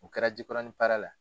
O kɛra Jikɔrɔni Para la.